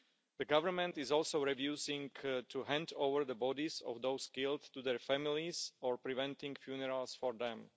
The government is also refusing to hand over the bodies of those killed to their families or preventing funerals for them.